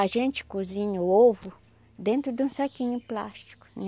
A gente cozinha o ovo dentro de um saquinho plástico.